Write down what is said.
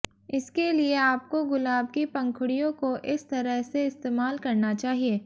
इसके लिए आपको गुलाब की पंखुड़ियों को इस तरह से इस्तेमाल करना चाहिए